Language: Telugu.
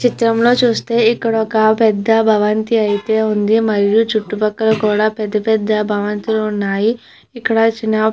ఈ చిత్రంలో చూస్తే ఇక్కడ ఒక పెద్ద భవంతి అయితే ఉంది మరియు చుట్టుపక్కల కూడా పెద్ద పెద్ద భవంతులు ఉన్నాయి. ఇక్కడ చిన్న--